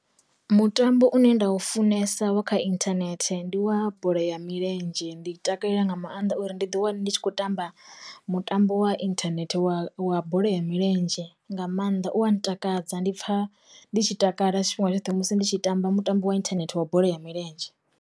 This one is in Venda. Mutambo une nda u funesa wa kha internet ndi wa bola ya milenzhe, ndi takalela nga maanḓa uri ndi ḓi wana ndi tshi khou tamba mutambo wa inthanethe wa wa bola ya milenzhe nga maanḓa u a ntakadza, ndi pfha ndi tshi takala tshifhinga tshoṱhe musi ndi tshi tamba mutambo wa inthanethe wa bola ya milenzhe.